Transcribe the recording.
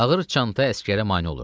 Ağır çanta əsgərə mane olurdu.